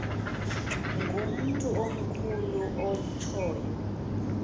ngumntu omkhulu otshoyo